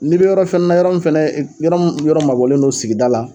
N'i be yɔrɔ fɛɛ na yɔrɔ min fɛnɛ yɔrɔ m yɔrɔ mabɔlen don sigida la